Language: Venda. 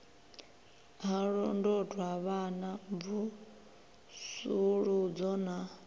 ha londotwa vhana mvusuludzo na